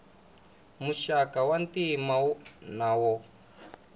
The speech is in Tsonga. muxaka wa ntima na wo